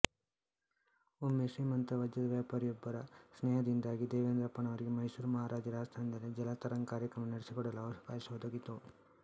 ಒಮ್ಮೆ ಶ್ರೀಮಂತ ವಜ್ರದ ವ್ಯಾಪಾರಿಯೊಬ್ಬರ ಸ್ನೇಹದಿಂದಾಗಿ ದೇವೆಂದ್ರಪ್ಪನವರಿಗೆ ಮೈಸೂರು ಮಹಾರಾಜರ ಆಸ್ಥಾನದಲ್ಲಿ ಜಲತರಂಗ್ ಕಾರ್ಯಕ್ರಮ ನಡೆಸಿಕೊಡಲು ಅವಕಾಶ ಒದಗಿತು